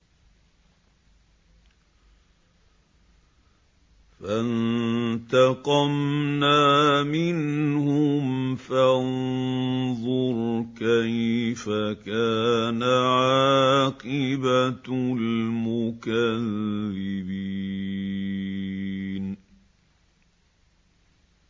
فَانتَقَمْنَا مِنْهُمْ ۖ فَانظُرْ كَيْفَ كَانَ عَاقِبَةُ الْمُكَذِّبِينَ